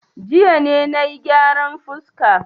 Jiya ne na yi gyaran fuska.